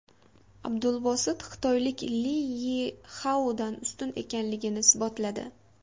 Abdulbosit xitoylik Li Yixaodan ustun ekanligini isbotladi.